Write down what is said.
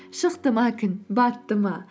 шықты ма күн батты ма